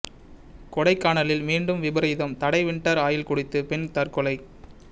கொடைக்கானலில் மீண்டும் விபரீதம் தடை வின்டர் ஆயில் குடித்து பெண் தற்கொலை